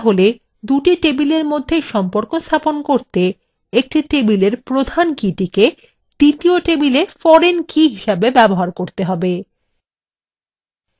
তাহলে দুটি table মধ্যে সম্পর্ক স্থাপন করতে একটি tableএর প্রধান key টিকে দ্বিতীয় table foreign key হিসাবে ব্যবহার করতে হবে